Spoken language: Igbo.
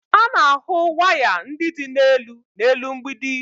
A na-ahụ waya ndị dị n'elu n'elu mgbidi